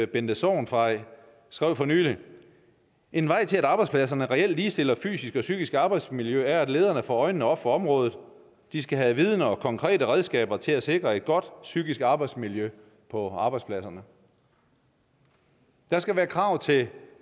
bente sorgenfrey sagde for nylig en vej til at arbejdspladserne reelt ligestiller fysisk og psykisk arbejdsmiljø er at lederne får øjnene op for området de skal have viden og konkrete redskaber til at sikre et godt psykisk arbejdsmiljø på arbejdspladserne der skal være krav til